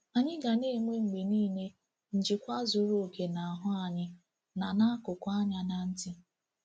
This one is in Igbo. Anyị ga na-enwe mgbe niile njikwa zuru oke n’ahụ́ anyị na n’akụkụ anya na ntị.